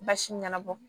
Basi ɲɛnabɔ